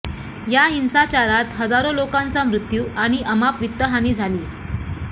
या हिंसाचारात हजारो लोकांचा मृत्यु आणि अमाप वित्तहानी झाली